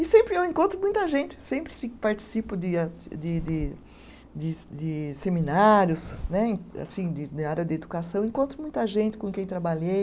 E sempre eu encontro muita gente, sempre se participo de a de de de de seminários né, assim de área de educação, encontro muita gente com quem trabalhei.